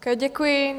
Děkuji.